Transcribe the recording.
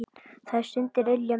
Þær stundir ylja mér.